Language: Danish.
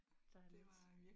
Der er lidt